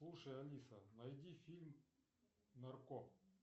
слушай алиса найди фильм нарко